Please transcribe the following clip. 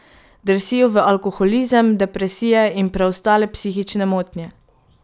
Drsijo v alkoholizem, depresije in preostale psihične motnje.